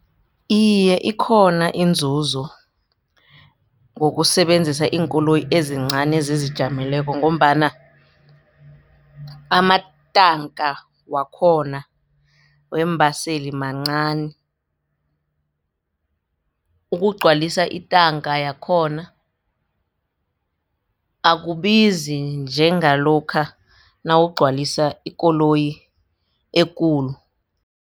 Iye, ikhona inzuzo ngokusebenzisa iinkoloyi ezincani ezizijameleko ngombana amatanka wakhona weembaseli mancani ukugcwalisa intanga yakhona akubizi njengalokha nawugcwalisa ikoloyi ekulu.